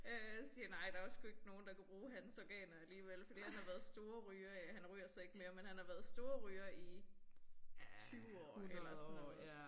Øh siger nej der var sgu ikke nogen der kunne bruge hans organer alligevel fordi han har været storryger i han ryger så ikke mere men han har været storryger i 20 år eller sådan noget